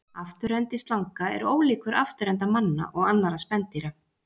Afturendi slanga er ólíkur afturenda manna og annarra spendýra.